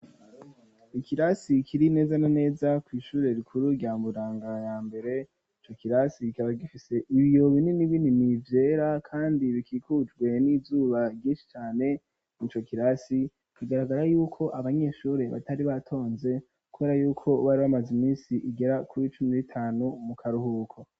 Ikirasi kiri neza na neza kw'ishure rikuru rya Mburanga ya mbere ico kirasi kikaba gifise ibiyo binini binini vyera kandi bikikujwe n'izuba ryinshi cane, ico kirasi kigaragara yuko abanyeshuri batari batonze kubera yuko bari bamaze iminsi igera kuri cumi n'itanu mu karuhuko.